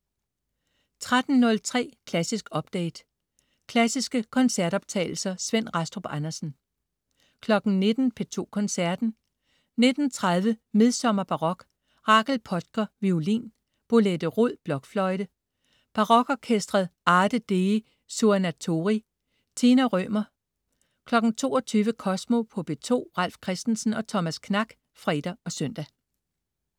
13.03 Klassisk update. Klassiske koncertoptagelser. Svend Rastrup Andersen 19.00 P2 Koncerten. 19.30 Midsommerbarok. Rachel Podger, violin. Bolette Roed, blokfløjte. Barokorkesteret Arte dei Suonatori. Tina Rømer 22.00 Kosmo på P2. Ralf Christensen og Thomas Knak (fre og søn)